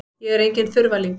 Ég er enginn þurfalingur.